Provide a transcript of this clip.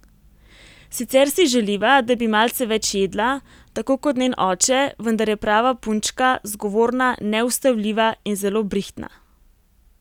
Sicer si želiva, da bi malce več jedla, tako kot njen oče, vendar je prava punčka, zgovorna, neustavljiva in zelo brihtna.